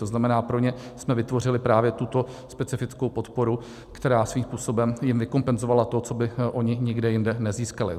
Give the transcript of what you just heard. To znamená, pro ně jsme vytvořili právě tuto specifickou podporu, která svým způsobem jim vykompenzovala to, co by oni nikde jinde nezískali.